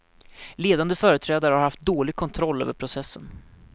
Ledande företrädare har haft dålig kontroll över processen.